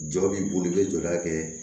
Jɔ b'i bolo i bɛ jɔda kɛ